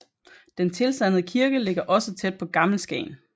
Den tilsandede kirke ligger også tæt på Gammel Skagen